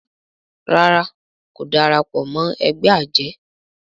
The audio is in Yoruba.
ràrá kò darapọ̀ mọ ègbé ajé.